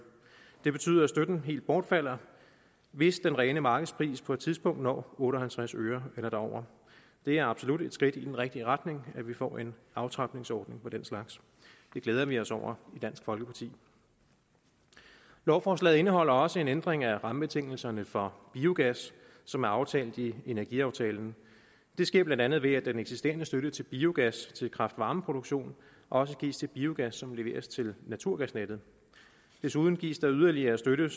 det betyder at støtten helt bortfalder hvis den rene markedspris på et tidspunkt når otte og halvtreds øre eller derover det er absolut et skridt i den rigtige retning at vi får en aftrapningsordning af den slags det glæder vi os over i dansk folkeparti lovforslaget indeholder også en ændring af rammebetingelserne for biogas som er aftalt i energiaftalen det sker blandt andet ved at den eksisterende støtte til biogas til kraft varme produktion også gives til biogas som leveres til naturgasnettet desuden gives der yderligere støtte